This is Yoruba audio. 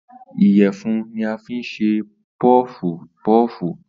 Ìyẹ̀fun ní a fín ṣe pọfu pọọfu